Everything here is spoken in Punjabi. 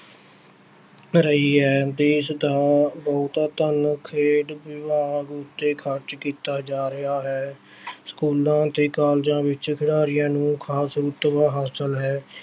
ਰਹੀ ਹੈ ਦੇਸ ਦਾ ਬਹੁਤਾ ਧਨ ਖੇਡ ਵਿਭਾਗ ਉੱਤੇ ਖ਼ਰਚ ਕੀਤਾ ਜਾ ਰਿਹਾ ਹੈ ਸਕੂਲਾਂ ਅਤੇ ਕਾਲਜਾਂ ਵਿੱਚ ਖਿਡਾਰੀਆਂ ਨੂੰ ਹਾਸਿਲ ਹੈ।